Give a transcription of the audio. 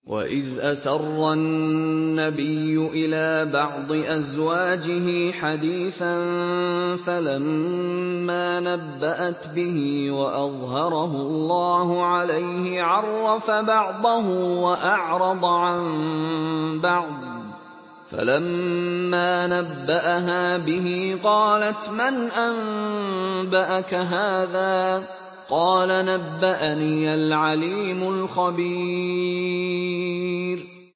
وَإِذْ أَسَرَّ النَّبِيُّ إِلَىٰ بَعْضِ أَزْوَاجِهِ حَدِيثًا فَلَمَّا نَبَّأَتْ بِهِ وَأَظْهَرَهُ اللَّهُ عَلَيْهِ عَرَّفَ بَعْضَهُ وَأَعْرَضَ عَن بَعْضٍ ۖ فَلَمَّا نَبَّأَهَا بِهِ قَالَتْ مَنْ أَنبَأَكَ هَٰذَا ۖ قَالَ نَبَّأَنِيَ الْعَلِيمُ الْخَبِيرُ